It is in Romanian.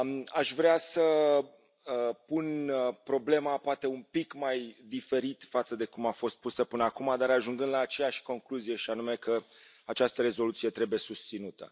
Aș vrea să pun problema poate un pic mai diferit față de cum a fost pusă până acum, dar ajungând la aceeași concluzie, și anume că această rezoluție trebuie susținută.